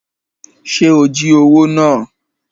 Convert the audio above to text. Ṣe o jí owó náà?